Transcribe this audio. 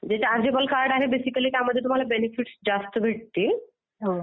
जे chargeable card आहे basically त्याच्यामध्ये तुम्हाला बेनिफिट्स जास्त भेटतील.